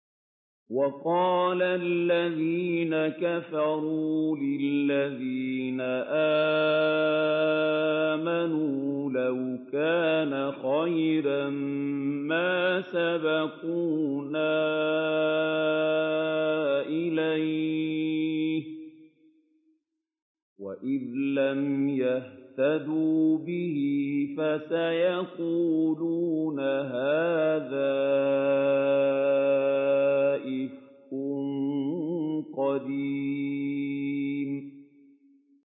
وَقَالَ الَّذِينَ كَفَرُوا لِلَّذِينَ آمَنُوا لَوْ كَانَ خَيْرًا مَّا سَبَقُونَا إِلَيْهِ ۚ وَإِذْ لَمْ يَهْتَدُوا بِهِ فَسَيَقُولُونَ هَٰذَا إِفْكٌ قَدِيمٌ